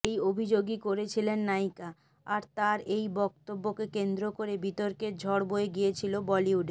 এই অভিযোগই করেছিলেন নায়িকা আর তাঁর এই বক্তব্যকে কেন্দ্র করে বিতর্কের ঝড় বয়ে গিয়েছিল বলিউডে